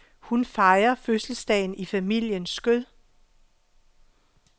Hun fejrer fødselsdagen i familiens skød.